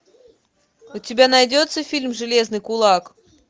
у тебя найдется фильм железный кулак